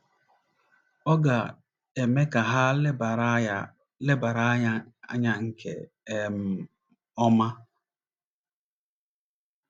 Ọ ga - eme ka ha lebara ya lebara ya anya nke um ọma.